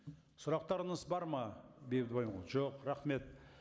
сұрақтарыңыз бар ма бейбіт жоқ рахмет